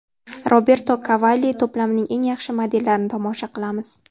Roberto Cavalli to‘plamining eng yaxshi modellarini tomosha qilamiz.